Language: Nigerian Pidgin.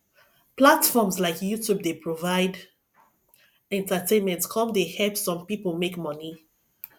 platforms like youtube dey provide entertainment come dey help some people make money